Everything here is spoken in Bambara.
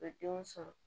U bɛ denw sɔrɔ